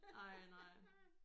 Ej nej